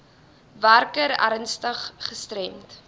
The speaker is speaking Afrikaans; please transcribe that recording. werker ernstig gestremd